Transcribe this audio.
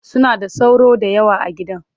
Suna da sauro da yawa a gidan